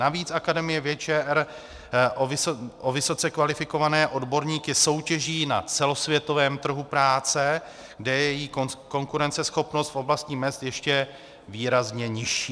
Navíc Akademie věd ČR o vysoce kvalifikované odborníky soutěží na celosvětovém trhu práce, kde je její konkurenceschopnost v oblasti mezd ještě výrazně nižší.